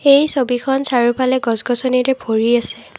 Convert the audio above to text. এই ছবিখন চাৰিওফালে গছ গছনিৰে ভৰি আছে।